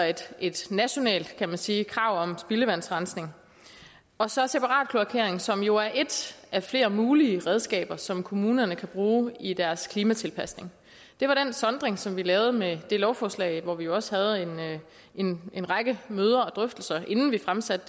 et nationalt kan man sige krav om spildevandsrensning og så separat kloakering som jo er ét af flere mulige redskaber som kommunerne kan bruge i deres klimatilpasning det var den sondring som vi lavede med det lovforslag hvor vi også havde en en række møder og drøftelser inden vi fremsatte